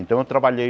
Então eu trabalhei...